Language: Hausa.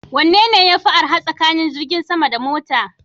Wanne yafi arha tsakanin jirgin sama da mota?